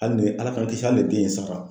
Hali ni Ala k'an kisi hali ni den in sara.